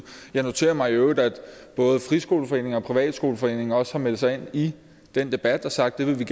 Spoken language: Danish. jeg noterer mig i øvrigt at både friskoleforeningen og privatskoleforeningen også har meldt sig ind i den debat og sagt at det vil